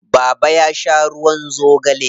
Baba ya sha ruwan zogale.